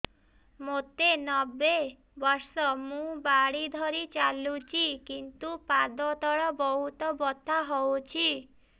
ମୋତେ ନବେ ବର୍ଷ ମୁ ବାଡ଼ି ଧରି ଚାଲୁଚି କିନ୍ତୁ ପାଦ ତଳ ବହୁତ ବଥା ହଉଛି